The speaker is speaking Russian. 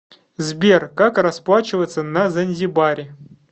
сбер как расплачиваться на занзибаре